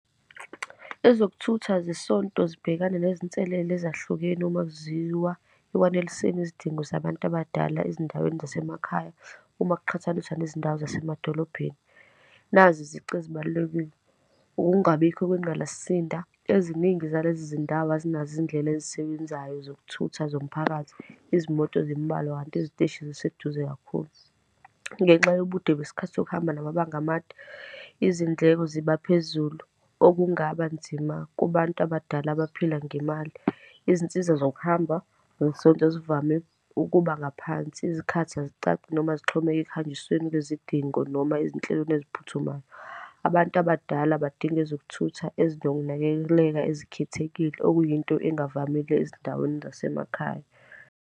Ezokuthutha zesonto zibhekane nezinselele ezahlukene uma kuziwa ekwaneliseni izidingo zabantu abadala ezindaweni zasemakhaya, uma kuqhathaniswa nezindawo zasemadolobheni. Nazi izici ezibalulekile. Ukungabikho kwengqalasinda, eziningi zalezi zindawo azinazo izindlela ezisebenzayo zokuthutha zomphakathi, izimoto zimbalwa, kanti iziteshi ziseduze kakhulu. Ngenxa yobude kwesikhathi sokuhamba namabanga amade, izindleko zibaphezulu, okungaba nzima kubantu abadala abaphila ngemali. Izinsiza zokuhamba zesonto zivame ukuba ngaphansi, izikhathi azicaci, noma zixhomeke ekuhanjisweni kwizidingo, noma ezinhlelweni eziphuthumayo. Abantu abadala badinga ezokuthutha ezinokunakekela ezikhethekile, okuyinto ezingavamile ezindaweni zasemakhaya.